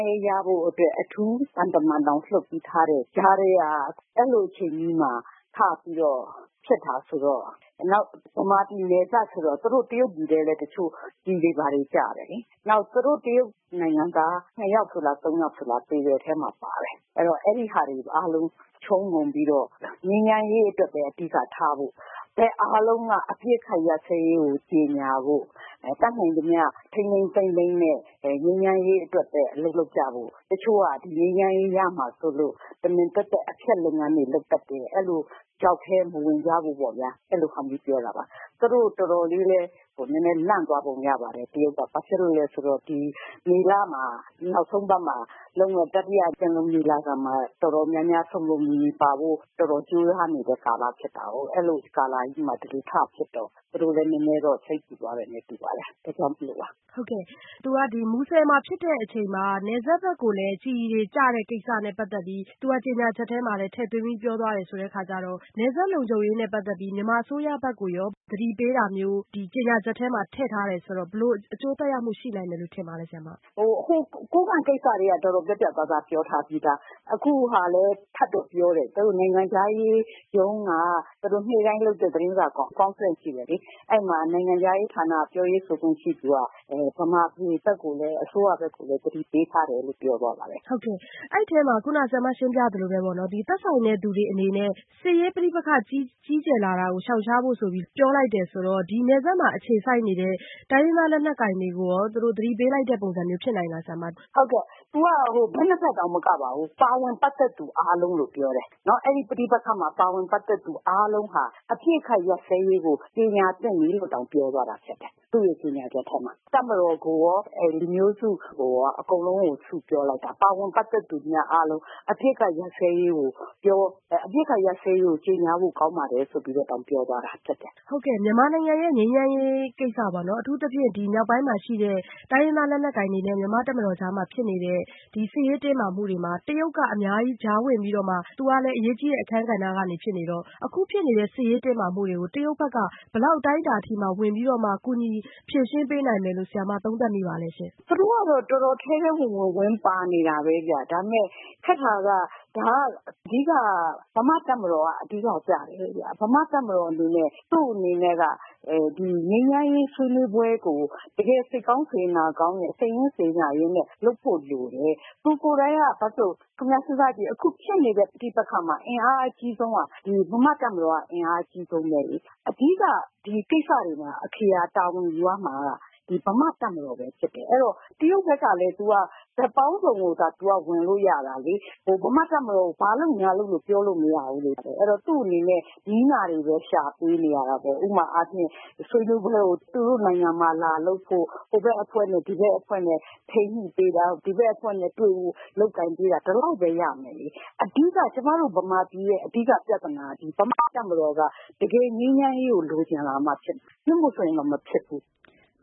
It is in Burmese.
ရေးရဖို့အတွက် အထူးသံတမန်တောင်လွှတ်ပေးထားတဲ့ကြားထဲက အဲလိုအချိန်မျိုးမှာ စပြီးတော့ ဖြစ်တယ်။ နောက်မြန်မာပြည်နယ်စပ်ဆိုတော့ တရုတ်ပြည်ထဲလည်း ကျည်တွေဘာတွေကျတယ်လေ။ သူတို့တရုတ်နိုင်ငံက ၂ ယောက်လား ၃ ယောက်လား သေတဲ့အထဲမှာပါတယ်။ ဆိုတော့ အဲဒါတွေအားလုံး ခြုံငုံပြီးတော့ ငြိမ်းချမ်းရေးအတွက်ပဲ အဓိကထားပြီးတော့ ဘက်အားလုံးက အပစ်အခတ်ရပ်စဲရေးကို ကြေညာဖို့ တတ်နိုင်သမျှ ထိန်းထိန်းသိမ်းသိမ်းနဲ့ ငြိမ်းချမ်းရေးအတွက်ပဲ အလုပ်လုပ်ကြဖို့ ၊ တချို့က ငြိမ်းချမ်းရေးရမှာစိုးလို့ တမင် အဖျက်လုပ်ငန်းတွေလုပ်တတ်တယ်၊ ချောက်ထဲမဝင်ကြဖို့ပေါ့ဗျာ အဲလိုဟာမျိုးပါ သူတို့တော်တော်လေးလည်း လန့်သွားပုံရတယ်။ ဘာဖြစ်လို့လဲဆိုတော့ ဒီမေလ နောက်ဆုံးအပတ်မှာလုပ်မယ့် တတိယ ပင်လုံညီလာခံမှာ တော်တော်များများ စုံစုံလင်လင်ပါဖို့ တော်တော်များများကြိုးစားနေတဲ့ကာလမှာ ဒီလိုထဖြစ်တော့ သူတို့လည်းနည်းနည်းစိတ်ပူသွားတယ်တူပါတယ် အဲဒါကြောင့်မို့ပါ။ မူဆယ်မှာဖြစ်တဲ့အချိန်မှာ နယ်စပ်ဘက်ကိုလည်း ကျည်တွေကျတာနဲ့ပတ်သက်ပြီး သူကကြေညာချက်ထဲမှာလည်းဖော်ပြပြောသွားတယ်ဆိုတော့ နယ်စပ်လုံခြုံရေးနဲ့ပတ်သက်ပြီး မြန်မာအစိုးရဘက်က သတိပေးတာမျိုး ဒီကြေညာချက်မှာ ထည့်ထားတယ်ဆိုတော့ ဘယ်လိုမျိုး အကျိုးသက်ရောက်မှုရှိနိုင်မယ်လို့ ထင်ပါသလဲ။ ကိုးကန့်ကိစ္စကတည်းက တော်တော်ပြတ်ပြတ်သားသားပြောထားပြီးသား အခုဟာလည်း ထပ်တော့ပြောတယ်။ သူတို့ နိုင်ငံခြားရေးရုံးက နေ့တိုင်းလုပ်တဲ့ သတင်းစာ Conference ရှိတယ်လေ ။ အဲဒီမှာ နိုင်ငံခြားရေးဌာန ပြောရေးဆိုခွင့်ရှိသူက မြန်မာပြည် အစိုးရဘက်ကိုလည်း သတိပေးထားတယ်လို့ ပြောသွားပါတယ်။ အဲဒီအထဲမှာ ခုနဆရာမ ရှင်းပြသလိုပဲပေါ့နော် သက်ဆိုင်တဲ့သူတွေအနေနဲ့ စစ်ရေးပဋိပက္ခကြီးကျယ်လာတာကို ရှောင်ရှားဖို့ပြောတယ်ဆိုတော့ ဒီနယ်စပ်မှာ အခြေစိုက်နေတဲ့ တိုင်းရင်းသားလက်နက်ကိုင်တွေကိုရော သူတို့သတိပေးတဲ့ ပုံစံမျိုးလည်းဖြစ်နိုင်သလား။ ဟုတ်ကဲ့ သူက ဘက် ၂ ဘက်တောင်မကပါဘူး ပါဝင်ပတ်သက်သူတွေအားလုံးလို့ပြောတယ် ။ အပစ်အခတ်ရပ်စဲရေးကို ကြေညာသင့်ပြီလို့တောင်ပြောတယ် ။ သူကြေညာချက်ထဲမှာ တပ်မတော်ကို လူမျိုးစုကိုရော အကုန်လုံးကို စုပြီးတော့ ပြောလိုက်တာ ပတ်သက်သူတွေအားလုံး အပစ်အခတ်ရပ်စဲရေးကို ကြေညာဖို့ကောင်းပါတယ်ဆိုပြီးတော့တောင် ပြောသွားတာ။ ဟုတ်ကဲ့ မြန်မာနိုင်ငံရဲ့ ငြိမ်းချမ်းရေးကိစ္စပေါ့နော် အထူးသဖြင့် မြောက်ပိုင်းမှာရှိတဲ့ တိုင်းရင်းသားလက်နက်ကိုင်တွေနဲ့ တပ်မတော်ကြားမှာ ဖြစ်နေတဲ့ ဒီစစ်ရေးတင်းမာမှုတွေမှာ တရုတ်က အများကြီး ကြားဝင်ပြီးတော့မှ သူကလည်း အရေးကြီးတဲ့ အခန်းကဏ္ဍကနေ ဖြစ်နေတော့ အခုဖြစ်နေတဲ့ စစ်ရေးတင်းမာမှုတွေကို တရုတ်ဘက်က ဘယ်လောက်အတိုင်းအတာအထိ ကူညီဖြေရှင်းပေးနိုင်မယ်လို့ ဆရာမ သုံးသပ်မိပါသလဲရှင့်။ သူတို့ကတော့ ထဲထဲဝင်ဝင် ဝင်ပါနေတာပဲ ။ ဒါပေမယ့် ခက်တာက ဒါက အဓိက မြန်မာ့တပ်မတော်အဓိကကျတယ်။ မြန်မာ့တပ်မတော်အနေနဲ့ သူ့အနေနဲ့က ငြိမ်းချမ်းရေးဆွေးနွေးပွဲကို တကယ်စိတ်ကောင်းစေတနာကောင်းနဲ့ စိတ်ရင်းစေတနာနဲ့ လုပ်ဖို့လိုတယ်။ အခုဖြစ်နေတဲ့ ပဋိပက္ခမှာ အင်အားအကြီးဆုံးက မြန်မာ့တပ်မတော်က အင်အားအကြီးဆုံးပဲလေ။ အဓိကကိစ္စတွေမှာ အခရာတာဝန်ယူရမှာက မြန်မာ့တပ်မတော်ဖြစ်တယ် အဲဒီတော့ တရုတ်ဘက်ကလည်း ဘက်ပေါင်းစုံကဝင်တယ်။ မြန်မာ့တပ်မတော်ကို ဘာလုပ်ပါလို့ ပြောလို့မရဘူးလေ။ အဲဒီတော့ သူ့အနေနဲ့ နည်းနာတွေပဲ ရှာပေးနေရတာပေါ့။ ဥပမာအားဖြင့် ဆွေးနွေးပွဲကို သူတို့နိုင်ငံမှာ သူတို့နိုင်ငံမှာ လာလုပ်ဖို့ ဟိုဘက်အဖွဲ့နဲ့ ဒီဘက်အဖွဲ့နဲ့ ထိန်းညှိပေးတာ ။ နောက်ဒီဘက်ကို လုပ်ပေးတာ ဒီလောက်ပဲရမယ် ။ ကျမတို့ မြန်မာပြည်ရဲ့ အဓိကပြဿနာကတော့ မြန်မာ့တပ်မတော်က တကယ်ငြိမ်းချမ်းရေးကို လိုချင်လာမှဖြစ်မယ် မဟုတ်ရင်တော့ မဖြစ်ဘူး။"